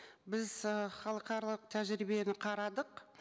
біз ы халықаралық тәжірибені қарадық